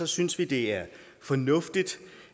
synes vi det er fornuftigt